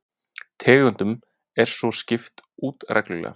Tegundum er svo skipt út reglulega